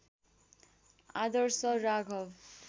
Adarsh Raghav